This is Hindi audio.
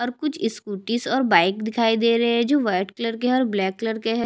और कुछ स्कूटी और बाइक दिखाई दे रहे है कुछ वाइट कलर के है और ब्लैक कलर के है।